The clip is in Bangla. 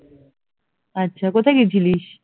আচ্ছা কোথায় গেছিলিস?